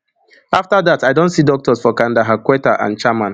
afta dat i don see doctors for kandahar quetta and chaman